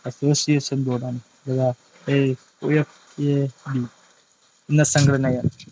ssoiation board IFAB എന്ന സംഘടനയാണ്‌.